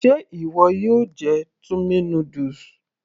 Ṣe ìwọ yóò jẹ tummy noodles